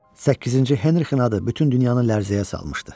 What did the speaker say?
Səkkizinci Henrikin adı bütün dünyanı lərzəyə salmışdı.